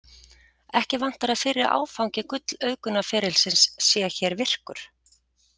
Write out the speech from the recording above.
Ekki vantar að fyrri áfangi gull-auðgunarferilsins sé hér virkur.